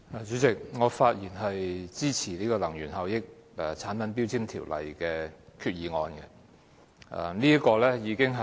主席，我發言支持根據《能源效益條例》動議的擬議決議案。